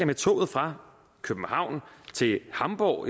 med toget fra københavn til hamborg